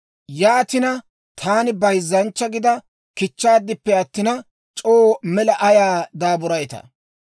Yaatina, taani bayzzanchcha gida kichchaaddippe attina, c'oo mela ayaw daaburayttaa?